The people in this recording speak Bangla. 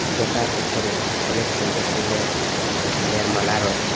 যেটার ওপরে অনেক সুন্দর সুন্দর মাল ফুলের মালা রয়েছে।